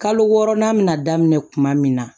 Kalo wɔɔrɔnan min na daminɛ kuma min na